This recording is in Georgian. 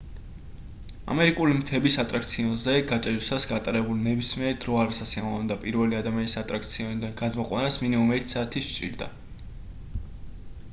ამერიკული მთების ატრაქციონზე გაჭედვისას გატარებული ნებისმიერი დრო არასასიამოვნოა და პირველი ადამიანის ატრაქციონიდან გადმოყვანას მინიმუმ ერთი საათი სჭირდა